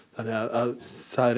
þannig að það er